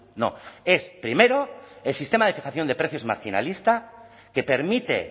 no es primero el sistema de fijación de precios marginalista que permite